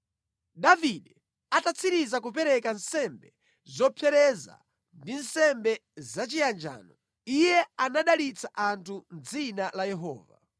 Davide atatsiriza kupereka nsembe zopsereza ndi nsembe zachiyanjano, iye anadalitsa anthu mʼdzina la Yehova.